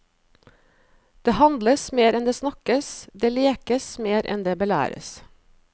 Det handles mer enn det snakkes, det lekes mer enn det belæres.